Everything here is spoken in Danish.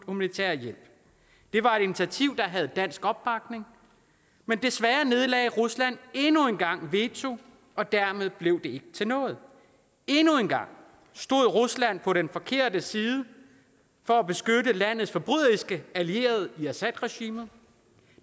humanitær hjælp det var et initiativ der havde dansk opbakning men desværre nedlagde rusland endnu en gang veto og dermed blev det ikke til noget endnu en gang stod rusland på den forkerte side for at beskytte landets forbryderiske allierede i assadregimet